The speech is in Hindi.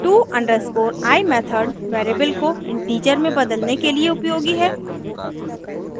to_i मेथड वेरिएबल को इंटीजर में बदलने के लिए उपयोगी है